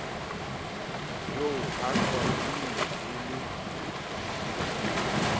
jo ha qwading e le